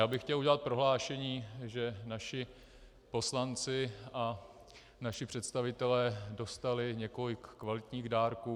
Já bych chtěl udělat prohlášení, že naši poslanci a naši představitelé dostali několik kvalitních dárků.